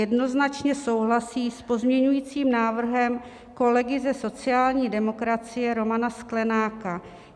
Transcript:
Jednoznačně souhlasí s pozměňovacím návrhem kolegy ze sociální demokracie Romana Sklenáka.